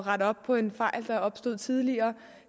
rette op på en fejl der opstod tidligere